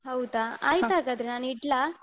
ಹೌದಾ ಆಯ್ತು ನಾನ್ ಇಡ್ಲ.